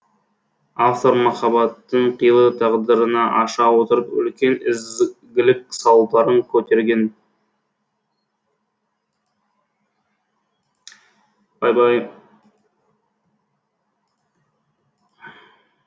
автор махаббаттың қилы тағдырын аша отырып үлкен ізгілік сауалдарын көтерген